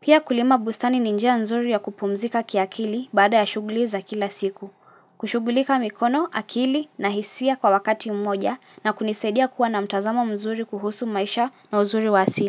Pia kulima bustani ni njia nzuri ya kupumzika kiakili baada ya shughuli za kila siku. Kushughulika mikono, akili na hisia kwa wakati mmoja na kunisaidia kuwa na mtazamo mzuri kuhusu maisha na uzuri wa asili.